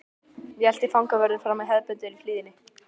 Ég elti fangavörðinn fram í hefðbundinni hlýðni.